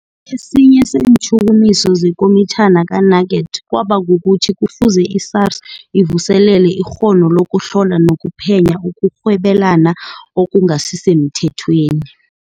Esinye seentjhukumiso zeKomitjhini ka-Nugent kwaba kukuthi kufuze i-SARS ivuselele ikghono lokuhlola nokuphenya ukurhwebelana okungasisemthethweni.